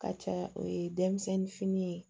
Ka ca o ye denmisɛnnin fini ye